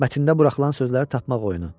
Mətndə buraxılan sözləri tapmaq oyunu.